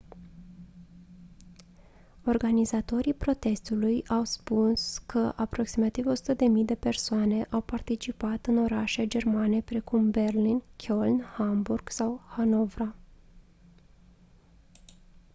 organizatorii protestului au spun că aproximativ 100.000 de persoane au participat în orașe germane precum berlin köln hamburg sau hanovra